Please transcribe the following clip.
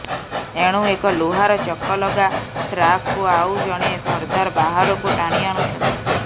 ଏଣୁ ଏକ ଲୁହାର ଚକଲଗା ଟ୍ରାକକୁ ଆଉ ଜଣେ ସର୍ଦ୍ଦାର ବାହାରକୁ ଟାଣି ଆଣୁଛନ୍ତି